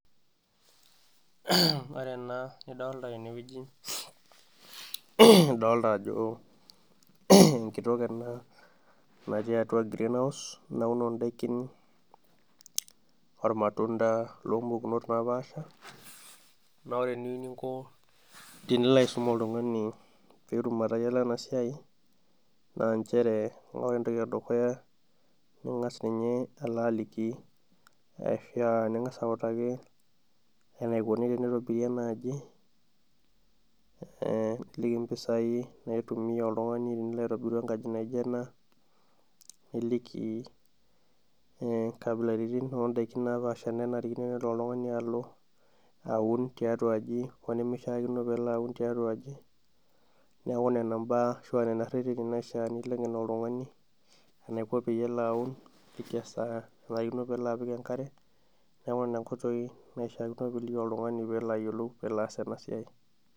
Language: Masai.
Ore ena nidolta tenewueji, idolta ajo enkitok ena natii atua greenhouse, nauno daikin ormatunda lompukunot napaasha, na ore eniu ninko tenilo aisum oltung'ani petum atayiolo enasiai, naa njere ore entoki edukuya, ning'as ninye alo aliki ashua ning'asa autaki enikoni tenitobiri enaaji, niliki mpisai naitumia oltung'ani tenilo aitobiru enkaji naijo ena, niliki nkabilaritin odaikin napaasha nanarikino nelo oltung'ani alo aun tiatua aji ho nimishaakino pelo aun tiatua aji, neeku nena mbaa ashua nena rreteni naishaa niliki oltung'ani, enaiko peyie elo aun niliki esaa nanarikino pelo apik enkare, neeku nena nkoitoi naishaakino piliki oltung'ani pelo ayiolou pelo aas enasiai.